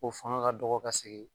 O faŋa ka dɔgɔ ka sigi